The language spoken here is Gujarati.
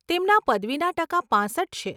તેમના પદવીના ટકા પાંસઠ છે.